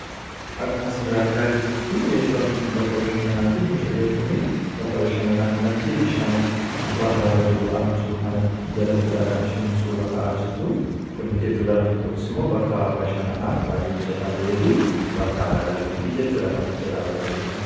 Akka as irraa argaa jirrutti bakki kun bakka bashannanaa ti. Mucayyoon kun bakka bashannanaa kanatti bishaan gubbaa irraa gad bu'aa jiru kanatti jalatti dha kanishiin suura ka'aa jirtu kun hin giddu gala yooks immoo bakka bashannanaaf baay'ee mijataa ta'ee fi bakka aagal fiitii jechuudha kanatti jirraa argaa jiru.